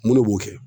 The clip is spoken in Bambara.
Mun ne b'o kɛ